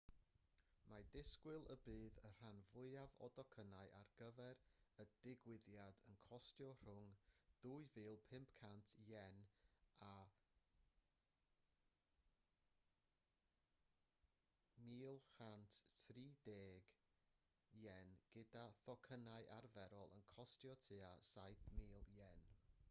mae disgwyl y bydd y rhan fwyaf o docynnau ar gyfer y digwyddiad yn costio rhwng ¥ 2,500 a ¥ 130,000 gyda thocynnau arferol yn costio tua ¥7,000